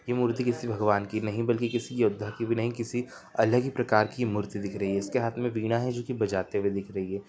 ये मूर्ति किसी भगवान की नहीं बल्कि किसी योद्धा की भी नहीं किसी अलग ही प्रकार की मूर्ति दिख रही है जिसके हाथ में बीड़ा है जो की बजाते हुए दिख रही है।